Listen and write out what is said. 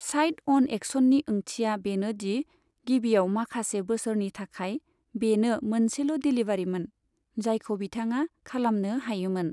Side अन एक्शननि ओंथिया बेनो दि गिबियाव माखासे बोसोरनि थाखाय, बेनो मोनसेल' डेलीवारीमोन, जायखौ बिथाङा खालामनो हायोमोन।